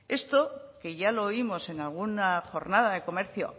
esto que ya lo oímos en alguna jornada de comercio